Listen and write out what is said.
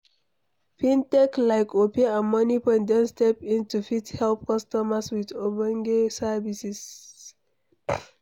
Fintech like opay and Moniepoint don step in to fit help customers with ogbonge services